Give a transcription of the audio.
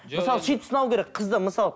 мысалы сөйтіп сынау керек қызды мысалы